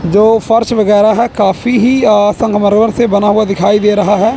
जो फर्श वगैरा है काफी ही अ संगमरमर से बना हुआ दिखाई दे रहा है।